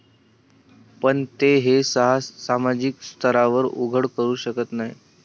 पण ते हे सामाजिक स्तरावर उघड करू शकत नाही.